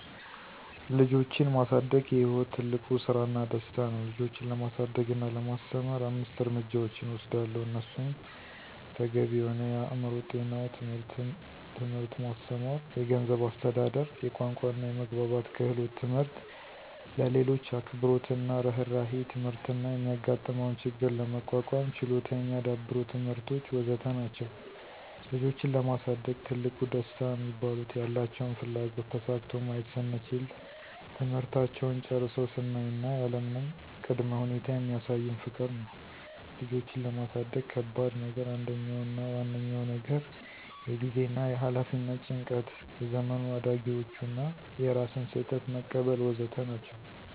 ልጆችን ማሳደግ የሕይወት ትልቁ ስራና ደስታ ነው ልጆችን ለማሳደግ እና ለማስተማር አምስት እርምጃዎችን እወስዳለሁ እነሱም ተገቢ የሆነ የአእምሮ ጤናው ትምህርት ማስተማር፣ የገንዝብ አስተዳደር፣ የቋንቋና የመግባባት ክህሎት ትምህርት፣ ለሌሎች አክብሮትና እርህራሄ ትምህርት እና የሚጋጥመውን ችግር ለመቋቋም ችሎታ የሚዳብሩ ትምህርቶች.. ወዘተ ናቸዉ። ልጆችን ለማሳደግ ትልቁ ደስታ ሚባሉት፦ ያላቸውን ፍላጎት ተሳክቶ ማየት ስንችል፣ ትምህርታቸውን ጨርሰው ስናይ እና ያለምንም ቀ ቅድመ ሁኔታ የሚሳዩን ፍቅር ነው። ልጆችን ለማሳደግ ከባድ ነገር አንደኛው አና ዋነኛው ነገር የጊዜና የኋላፊነት ጭንቀት፣ የዘመኑ አዳጊዎቹ እና የራስን ስህተት መቀበል.. ወዘተ ናቸው።